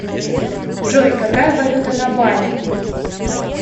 джой какая валюта на бали